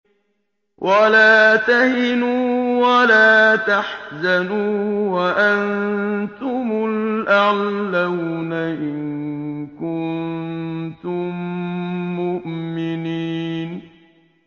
وَلَا تَهِنُوا وَلَا تَحْزَنُوا وَأَنتُمُ الْأَعْلَوْنَ إِن كُنتُم مُّؤْمِنِينَ